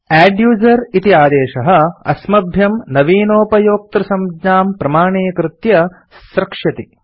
adduser इति आदेशः अस्मभ्यं नवीनोपयोक्तृसंज्ञां प्रमाणीकृत्य स्रक्ष्यति